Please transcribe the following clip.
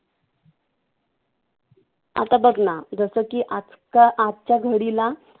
आता बघ ना जसं की आजच्या घडीला,